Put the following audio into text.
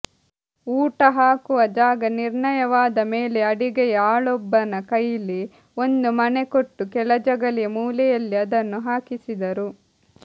ಊಟಹಾಕುವ ಜಾಗ ನಿರ್ಣಯವಾದ ಮೇಲೆ ಅಡಿಗೆಯ ಆಳೊಬ್ಬನ ಕೈಲಿ ಒಂದು ಮಣೆ ಕೊಟ್ಟು ಕೆಳಜಗಲಿಯ ಮೂಲೆಯಲ್ಲಿ ಅದನ್ನು ಹಾಕಿಸಿದರು